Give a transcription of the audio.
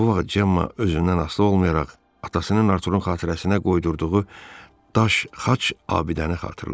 Bu vaxt Cemma özündən asılı olmayaraq atasının Arturunun xatirəsinə qoydurduğu daş xaç abidəni xatırladı.